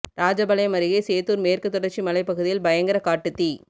ராஜபாளையம் அருகே சேத்தூர் மேற்குத் தொடர்ச்சி மலை பகுதியில் பயங்கர காட்டுத் தீ